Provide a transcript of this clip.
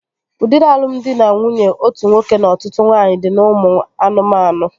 Udiri alụmdi na nwunye otu nwoke na ọtụtụ nwaanyị dị n'ụmụ anụmanụ